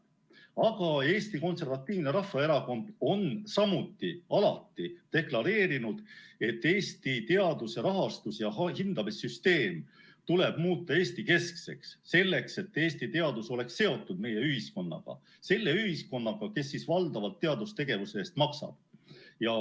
Aga Eesti Konservatiivne Rahvaerakond on samuti alati deklareerinud, et Eesti teaduse rahastus‑ ja hindamissüsteem tuleb muuta Eesti-keskseks, et Eesti teadus oleks seotud meie ühiskonnaga, selle ühiskonnaga, kes valdavalt teadustegevuse eest maksab.